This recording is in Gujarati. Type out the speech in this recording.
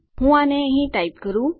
હું આને અહીં ટાઈપ કરું